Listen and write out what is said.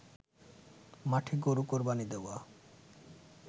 মাঠে গরু কোরবানি দেওয়া